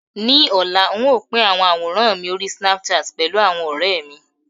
ní ọlá, n o Pin awọn aworan mi ori Snapchat pẹlu awon ore mi